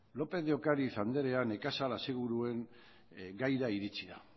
lópez de ocariz anderea nekazal aseguruen gaira iritsi da